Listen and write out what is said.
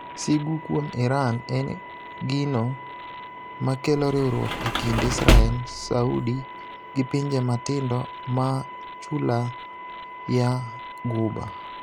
Sigu kuom iran en e gino makelo riwruok e kind Israel, Saudi gi pinje matindo maa chula. ya ghuba.